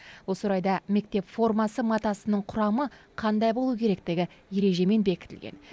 осы орайда мектеп формасы матасының құрамы қандай болу керектігі ережемен бекітілген